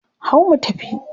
Hau mu tafi!